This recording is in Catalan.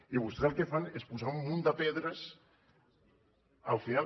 i vostès el que fan és posar un munt de pedres al final